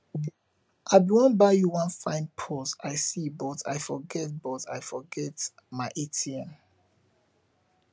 i bin wan buy you wan fine purse i see but i forget but i forget my atm